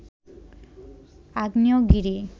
আগ্নেয়গিরি